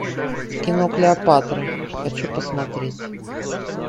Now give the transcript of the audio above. кино клеопатра хочу посмотреть